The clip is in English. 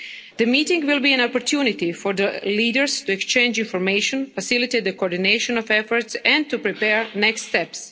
The meeting will be an opportunity for the leaders to exchange information, facilitate the coordination of efforts and to prepare the next